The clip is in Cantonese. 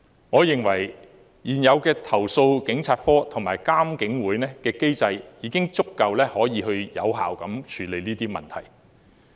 我認為現有的投訴警察課和獨立監察警方處理投訴委員會的機制已能有效地處理這些問題。